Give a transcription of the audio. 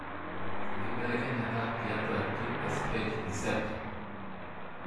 Enkibelekenyata tiatu TSH receptor?